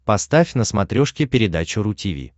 поставь на смотрешке передачу ру ти ви